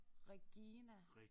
Regina